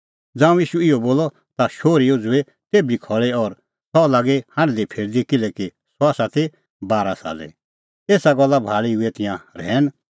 ज़ांऊं ईशू इहअ बोलअ ता सह शोहरी उझ़ुई तेभी खल़ी और सह लागी हांढदीफिरदी किल्हैकि सह ती बारा साले एसा गल्ला भाल़ी हुऐ तिंयां रहैन